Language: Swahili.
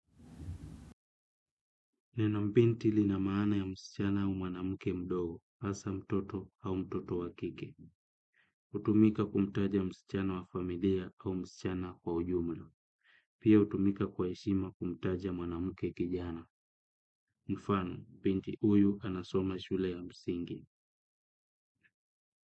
Neno binti lina maana ya msichana au mwanamke mdogo, hasa mtoto au mtoto wa kike. Hutumika kumtaja msichana wa familia au msichana kwa ujumla. Pia hutumika kwa heshima kumtaja mwanamke kijana. Mfano, binti huyu anasoma shule ya msingi.